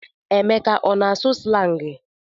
Emeka ọ na-asụ slangị?